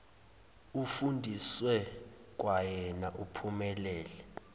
ufundiswe kwawena uphumelele